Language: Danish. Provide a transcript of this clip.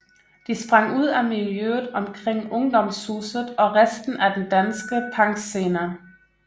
De sprang ud af miljøet omkring Ungdomshuset og resten af den danske punkscene